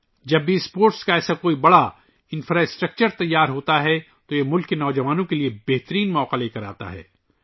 جب بھی اتنا بڑا کھیلوں کا بنیادی ڈھانچہ تیار ہوتا ہے، اس سے ملک کے نوجوانوں کے لئے بڑے مواقع آتے ہیں